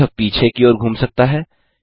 यह पीछे की ओर घूम सकता है